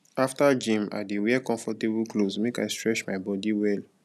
after gym i dey wear comfortable clothes make i stretch my body well